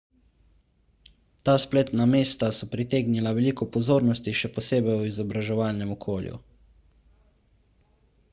ta spletna mesta so pritegnila veliko pozornosti še posebej v izobraževalnem okolju